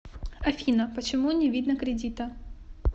афина почему не видно кредита